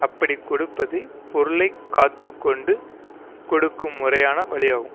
அப்படிக் கொடுப்பதே பொருளை காத்து கொண்டு கொடுக்கும் முறையான வழியாகும்